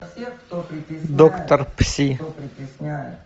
доктор пси